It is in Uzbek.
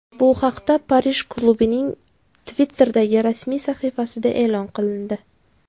Bu haqda Parij klubining Twitter’dagi rasmiy sahifasida e’lon qilindi .